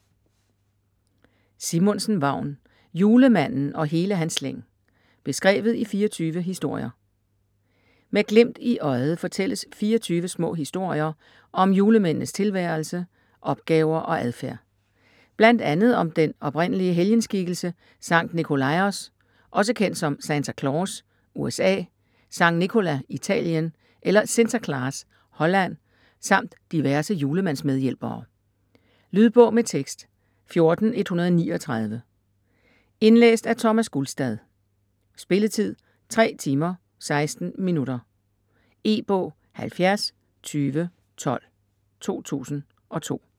Simonsen, Vagn: Julemanden og hele hans slæng: beskrevet i 24 historier Med glimt i øjet fortælles 24 små historier om julemændenes tilværelse, opgaver og adfærd. Bl.a. om den oprindelige helgenskikkelse Sankt Nicolaos, også kendt som Santa Claus (USA), San Nicola (Italien) eller Sinterklaas (Holland) samt diverse julemandsmedhjælpere. Lydbog med tekst 14139 Indlæst af Thomas Gulstad Spilletid: 3 timer, 16 minutter. E-bog 702012 2002.